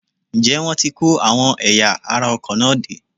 Ǹjẹ́ wọ́n ti kó àwọn ẹ̀yà ara ọkọ̀ náà dé?